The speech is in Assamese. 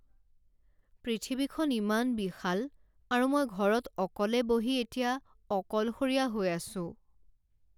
পৃথিৱীখন ইমান বিশাল আৰু মই ঘৰত অকলে বহি এতিয়া অকলশৰীয়া হৈ আছোঁ।